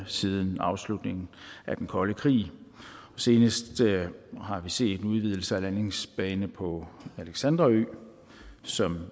siden afslutningen af den kolde krig senest har vi set en udvidelse af en landingsbane på alexandra ø som